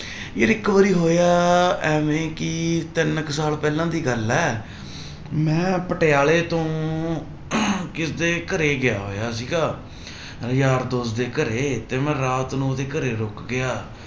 ਯਾਰ ਇੱਕ ਵਾਰੀ ਹੋਇਆ ਇਵੇਂ ਕਿ ਤਿੰਨ ਕੁ ਸਾਲ ਪਹਿਲਾਂ ਦੀ ਗੱਲ ਹੈ ਮੈਂ ਪਟਿਆਲੇ ਤੋਂ ਕਿਸੇ ਦੇ ਘਰੇ ਗਿਆ ਹੋਇਆ ਸੀਗਾ ਯਾਰ ਦੋਸਤ ਦੇ ਘਰੇ ਤੇ ਮੈਂ ਰਾਤ ਨੂੰ ਉਹਦੇ ਘਰੇ ਰੁੱਕ ਗਿਆ।